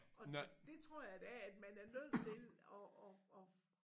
Og det tror jeg da at man er nødt til at at at